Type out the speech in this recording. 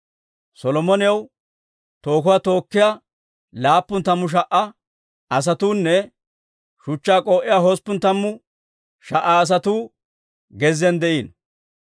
Solomonaw tookuwaa tookkiyaa laappun tammu sha"a asatuunne shuchchaa k'oo'iyaa hosppun tammu sha"a asatuu gezziyaan de'iino.